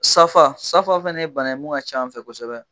Safa safa fɛna ye bana ye mun ka c'an fɛ yen kosɛbɛ.